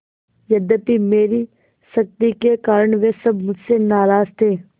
यद्यपि मेरी सख्ती के कारण वे सब मुझसे नाराज थे